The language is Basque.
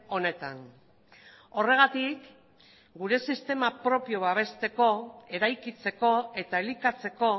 honetan horregatik gure sistema propio babesteko eraikitzeko eta elikatzeko